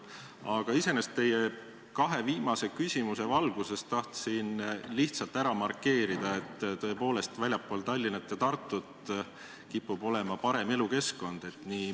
Aga iseenesest tahtsin teie kahe viimase küsimuse valguses lihtsalt ära markeerida, et tõepoolest, väljaspool Tallinna ja Tartut kipub olema parem elukeskkond.